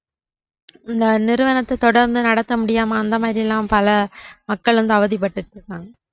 அந்த நிறுவனத்த தொடர்ந்து நடத்த முடியாம அந்த மாதிரிலாம் பல மக்கள் வந்து அவதிப்பட்டுட்டுருக்காங்க